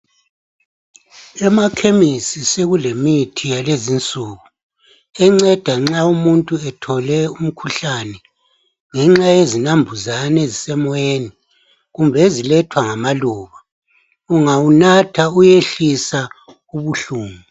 Emakhemisi sekulemithi yakulezinsuku. Enceda nxa umuntu ethole umkhuhlane, ngenxa yezinambuzane ezisemoyeni. Kumbe ezilethwa ngamaluba. Ungawunatha, uyehlisa ubuhlungu.